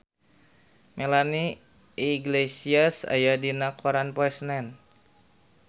Melanie Iglesias aya dina koran poe Senen